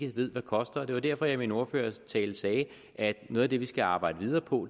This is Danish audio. ikke ved hvad koster det var derfor at jeg i min ordførertale sagde at noget af det vi skal arbejde videre på